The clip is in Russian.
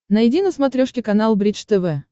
найди на смотрешке канал бридж тв